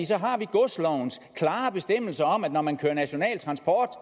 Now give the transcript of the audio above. så har vi godslovens klare bestemmelser om at når man kører national transport